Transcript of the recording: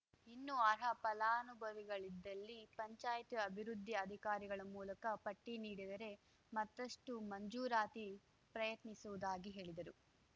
ಇನ್ನು ಅರ್ಹ ಫಲಾನುಭವಿಗಳಿದ್ದಲ್ಲಿ ಪಂಚಾಯ್ತಿ ಅಭಿವೃದ್ಧಿ ಅಧಿಕಾರಿಗಳ ಮೂಲಕ ಪಟ್ಟಿ ನೀಡಿದರೆ ಮತ್ತಷ್ಟು ಮಂಜೂರಾತಿ ಪ್ರಯತ್ನಿಸುವುದಾಗಿ ಹೇಳಿದರು